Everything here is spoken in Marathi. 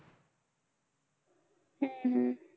हम्म हम्म